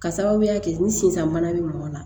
Ka sababuya kɛ ni sinzan bana be mɔgɔ la